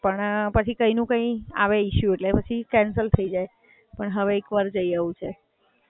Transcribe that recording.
પણ પછી કાઈનું કઈ આવે ઇસ્યુ એટલે પછી કેન્સલ થય જાય. પણ હવે એકવાર જઈ આવવું છે.